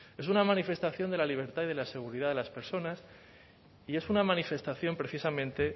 es una manifestación de la libertad y de la seguridad de las personas y es una manifestación precisamente